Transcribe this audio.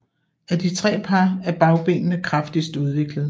Af de tre par ben er bagbenene kraftigst udviklede